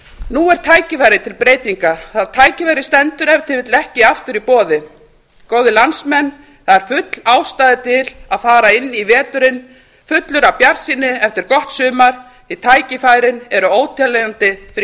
nú er tækifæri til breytinga það tækifæri stendur ef til vill ekki aftur í boði góðir landsmenn það er full ástæða til að fara inn í veturinn fullur af bjartsýni eftir gott sumar því tækifærin eru óteljandi fyrir